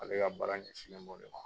Ale ka baara ɲɛsinlen b'o de ma.